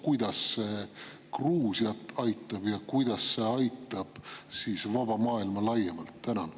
Kuidas see Gruusiat aitab ja kuidas see aitab vaba maailma laiemalt?